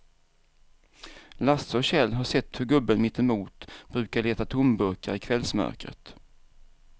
Lasse och Kjell har sett hur gubben mittemot brukar leta tomburkar i kvällsmörkret.